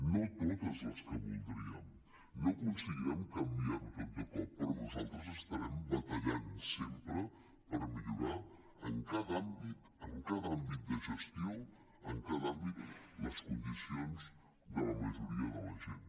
no totes les que voldríem no aconseguirem canviar ho tot de cop però nosaltres estarem batallant sempre per millorar en cada àmbit en cada àmbit de gestió les condicions de la majoria de la gent